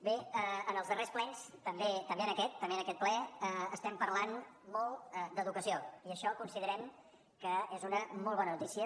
bé en els darrers plens també en aquest també en aquest ple estem parlant molt d’educació i això considerem que és una molt bona notícia